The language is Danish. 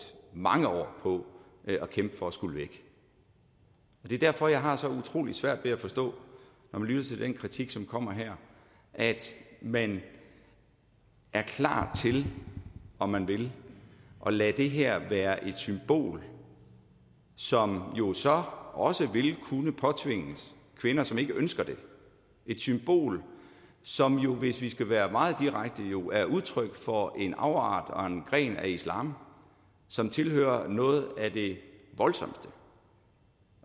mange år på at kæmpe for skulle væk det er derfor jeg har så utrolig svært ved at forstå når vi lytter til den kritik som kommer her at man er klar til om man vil at lade det her være et symbol som jo så også vil kunne påtvinges kvinder som ikke ønsker det et symbol som hvis vi skal være meget direkte jo er udtryk for en afart og en gren af islam som tilhører noget af det voldsomste